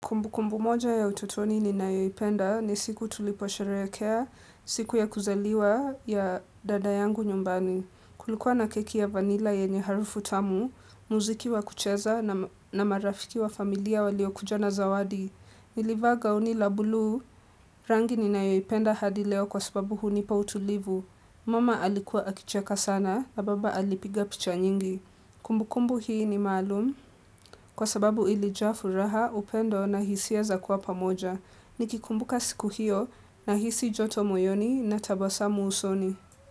Kumbukumbu moja ya utotoni ninayoipenda ni siku tuliposherehekea siku ya kuzaliwa ya dada yangu nyumbani. Kulikuwa na keki ya vanila yenye harufu tamu, muziki wa kucheza na marafiki wa familia waliokuja na zawadi. Nilivaa gauni la bulu, rangi ninayoipenda hadi leo kwa sababu hunipa utulivu. Mama alikuwa akicheka sana na baba alipiga picha nyingi. Kumbukumbu hii ni maalum kwa sababu ilijaa furaha, upendo na hisia za kuwa pamoja. Nikikumbuka siku hiyo na hisi joto moyoni na tabasamu usoni.